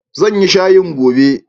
Zan yi shayin gobe.